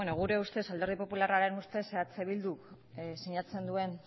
gure ustez alderdi popularraren ustez eh bilduk sinatzen duen